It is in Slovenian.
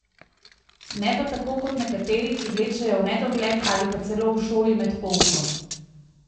Ne pa tako kot nekateri, ki vlečejo v nedogled ali pa celo v šoli med poukom.